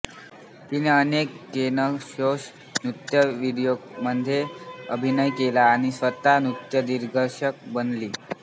तिने अनेक केन घोष नृत्य व्हिडिओंमध्ये अभिनय केला आणि स्वतः नृत्यदिग्दर्शक बनली